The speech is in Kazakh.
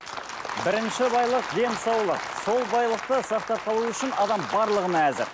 бірінші байлық денсаулық сол байлықты сақтап қалу үшін адам барлығына әзір